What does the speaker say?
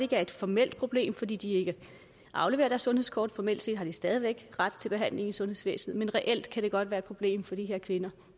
er et formelt problem fordi de ikke afleverer deres sundhedskort formelt set har de stadig væk ret til behandling i sundhedssystemet men reelt kan det godt være et problem for de her kvinder